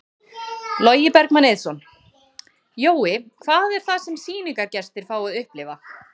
Logi Bergmann Eiðsson: Jói, hvað er það sem sýningargestir fá að upplifa?